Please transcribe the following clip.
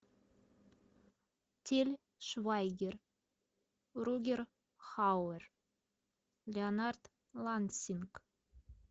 тиль швайгер рутгер хауэр леонард лансинг